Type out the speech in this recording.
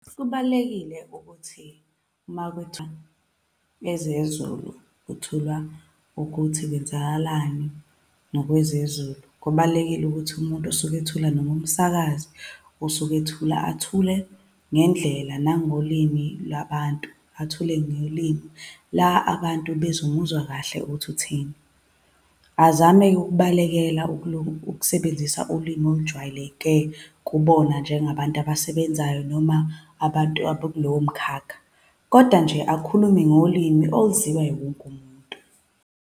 Kubalulekile ukuthi uma kwethulwa ezezulu, kwethulwa ukuthi kwenzakalani ngokwezezulu, ubalulekile ukuthi umuntu osuke ethula, noma umsakazi osuke ethula, athule ngendlela nangolimi lwabantu. Athule ngolimi la abantu bezomuzwa kahle ukuthi uthini. Azame-ke ukubalekela ukukusebenzisa ulimi olujwayeleke kubona njengabantu abasebenzayo noma abantu abakulowo mkhakha. Kodwa nje akhulume ngolimi oluzwiwa yiwo wonke umuntu.